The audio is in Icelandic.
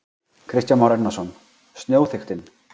Kristján Már Unnarsson: Snjóþykktin?